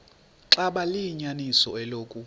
xaba liyinyaniso eloku